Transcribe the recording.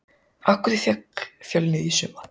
Af hverju féll Fjölnir í sumar?